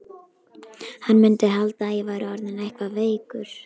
Hann mundi halda að ég væri orðinn eitthvað veikur.